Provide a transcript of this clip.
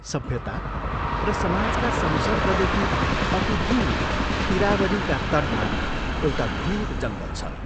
सभ्यता र समाजका संसर्गदेखि अति दूर ईरावदीका तटमा एउटा घोर जङ्गल छ।